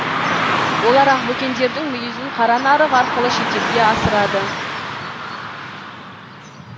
олар ақбөкендердің мүйізін қара нарық арқылы шетелге асырады